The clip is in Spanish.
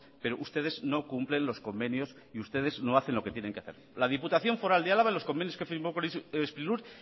pero ustedes no cumplen los convenios y ustedes no hacen lo que tienen que hacer la diputación foral de álava en los convenios que firmó con sprilur